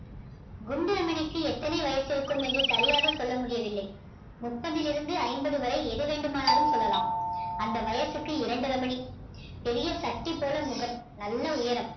குண்டு ரமணிக்கு எத்தனை வயசு இருக்கும் என்று சரியாக சொல்ல முடியவில்லை முப்பதில் இருந்து ஐம்பது வரை எது வேண்டுமானாலும் சொல்லலாம் அந்த வயசுக்கு இரண்டு ரமணி பெரிய சட்டி போல முகம் நல்ல உயரம்